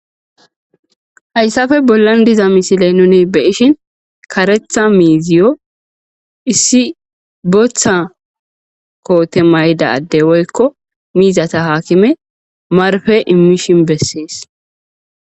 Haysape bolan diza missilen nuni be'ishin karetha miziyo issi bota kote mayida ade woyko mizata hakime marpe imishe beses.